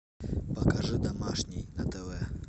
покажи домашний на тв